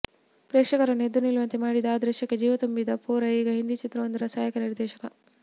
ಪ್ರೇಕ್ಷಕರನ್ನು ಎದ್ದು ನಿಲ್ಲುವಂತೆ ಮಾಡಿದ್ದ ಆ ದೃಶ್ಯಕ್ಕೆ ಜೀವ ತುಂಬಿದ ಪೋರ ಈಗ ಹಿಂದಿ ಚಿತ್ರವೊಂದರ ಸಹಾಯಕ ನಿರ್ದೇಶಕ